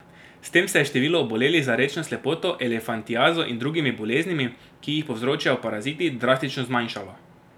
S tem se je število obolelih za rečno slepoto, elefantiazo in drugimi boleznimi, ki jih povzročajo paraziti, drastično zmanjšalo.